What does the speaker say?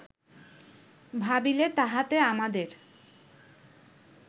ভাবিলে তাহাতে আমাদের